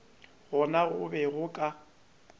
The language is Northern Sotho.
gona go be go ka